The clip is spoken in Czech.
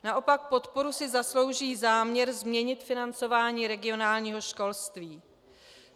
Naopak podporu si zaslouží záměr změnit financování regionálního školství.